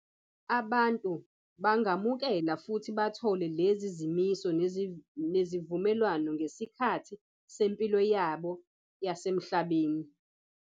Abantu bangamukela futhi bathole lezi zimiso nezivumelwano ngesikhathi sempilo yabo yasemhlabeni.